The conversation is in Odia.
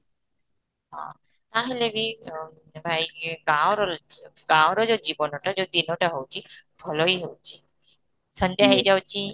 ହଁ ତାହାହେଲେ ବି ତ ଭାଇ ର ର ଯୋଉ ଜୀବନଟା ଟା ରହୁଛି ଭଲ ହିଁ ହୋଉଛି ସନ୍ଧ୍ୟା ହେଇ ଯାଉଛି